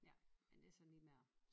Ja men det sådan lige med at